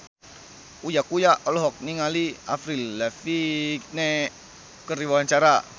Uya Kuya olohok ningali Avril Lavigne keur diwawancara